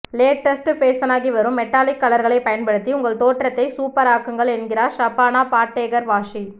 latest ஃபேஷனாகி வரும் metallic கலர்களைப் பயன்படுத்தி உங்கள் தோற்றத்தை சூப்பராக்குங்கள் என்கிறார் ஷபானா பாட்டேகர் வாஹி